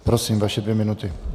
Prosím, vaše dvě minuty.